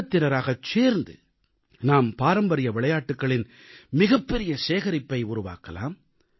கூட்டத்தினராகச் சேர்ந்து நாம் பாரம்பரிய விளையாட்டுகளின் மிகப்பெரிய சேகரிப்பை உருவாக்கலாம்